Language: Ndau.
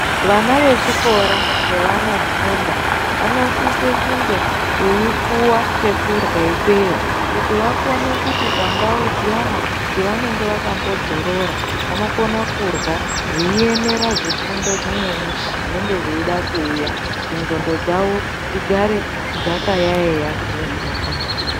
Vana vechikora pevanofunda vanosise kunge veipuwa chekurya ikweyo kuti vakone kuti pandau dziyana dzevanenge vakambodzorora, vanokona kurya veiemera zvifundo zvimweni zvinenge zveida kuuya kuti ngqondo dzavo dzigare dzakayaiya kune zvinofundiswa.